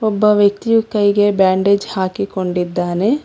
ಒಬ್ಬ ವ್ಯಕ್ತಿಯು ಕೈಗೆ ಬ್ಯಾಂಡೇಜ್ ಹಾಕಿಕೊಂಡಿದ್ದಾನೆ.